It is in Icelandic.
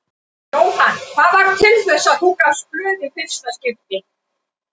Jóhann: Hvað varð til þess að þú gafst blóð í fyrsta skipti?